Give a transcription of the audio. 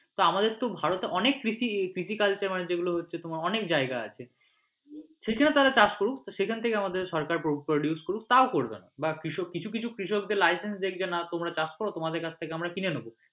আমাদের তো ভারতে অনেক কৃষিকাজ হচ্ছে মানে যেগুলো হচ্ছে তোমার অনেক জায়গা আছে সেই জন্য তারা চাষ করুক তো সেখান থেকে আমাদের সরকার produce করুক টাও করবে না বাঃ কৃষক কিছু কিছু কৃষকদের license দেখবে না তোমরা চাষ করো তোমাদের থেকে আমরা কিনে নেবো।